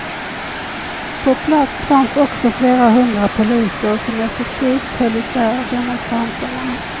På plats fanns också flera hundra poliser som effektivt höll isär demonstranterna.